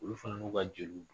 Olu fana n'u ka jeliw.